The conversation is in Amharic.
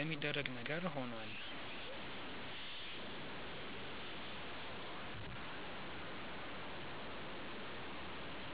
የሚደረግ ነገር ሆኗል።